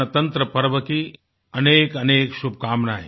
गणतंत्र पर्व की अनेकअनेक शुभकामनायें